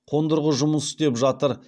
қондырғы жұмыс істеп жатыр